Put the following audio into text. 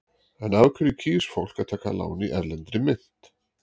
En af hverju kýs fólk að taka lán í erlendri mynt?